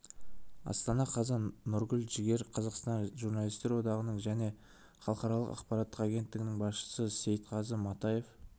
астана қазан нұргүл жігер қазақстан журналистер одағының және халықаралық ақпараттық агенттігінің басшысы сейтқазы матаев